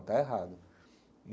Está errado e.